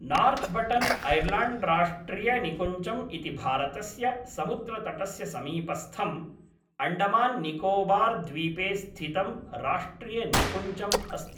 नार्थ्बटन्ऐल्याण्ड्राष्ट्रियनिकुञ्जम् इति भारतस्य समुद्रतटस्य समीपस्थं, अण्डमान्निकोबार्द्वीपे स्थितं राष्ट्रियनिकुञ्जम् अस्ति।